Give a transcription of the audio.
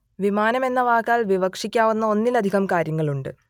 വിമാനം എന്ന വാക്കാൽ വിവക്ഷിക്കാവുന്ന ഒന്നിലധികം കാര്യങ്ങളുണ്ട്